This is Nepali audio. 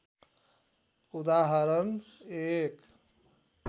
उदाहरण १